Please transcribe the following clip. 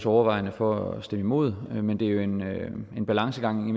overvejende for at stemme imod men det er jo en balancegang